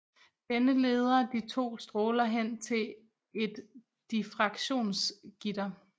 Denne leder de to stråler hen til et diffraktionsgitter